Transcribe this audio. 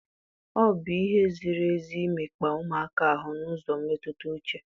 O bụ ihe ziri ezi imekpa ụmụaka ahu n'ụzọ mmetụta uche?